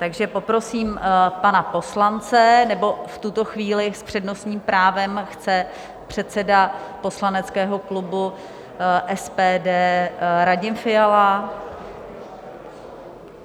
Takže poprosím pana poslance, nebo v tuto chvíli s přednostním právem chce předseda poslaneckého klubu SPD Radim Fiala?